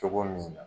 Cogo min na